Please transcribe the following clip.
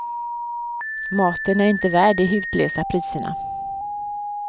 Maten är inte värd de hutlösa priserna.